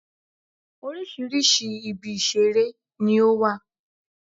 Oríṣiríṣi ibi ìṣeré ni ó wà